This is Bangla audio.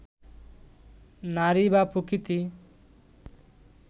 নারী বা প্রকৃতি